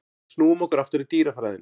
En snúum okkur aftur að dýrafræðinni.